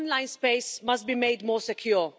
our online space must be made more secure.